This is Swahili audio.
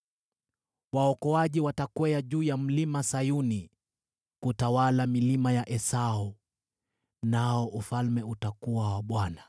Waokoaji watakwea juu ya Mlima Sayuni kutawala milima ya Esau. Nao ufalme utakuwa wa Bwana .